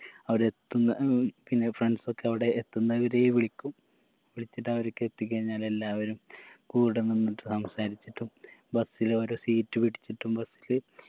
അവരെത്തുന്ന ഉം പിന്നെ friends ഒക്കെ അവിടെ എത്തുന്ന വരേ വിളിക്കും വിളിച്ചിട്ട് അവരൊക്കെ എത്തി കഴിഞ്ഞാൽ എല്ലാവരും കൂട നിന്നിട്ടും സംസാരിച്ചിട്ടും bus ൽ ഓരോ seat പിടിച്ചിട്ടും bus ല്